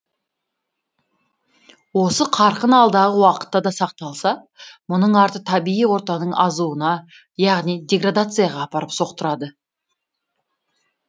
осы қарқын алдағы уақытта да сақталса мұның арты табиғи ортаның азуына яғни деградацияға апарып соқтырады